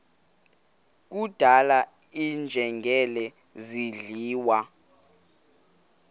kudlala iinjengele zidliwa